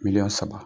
Miliyɔn saba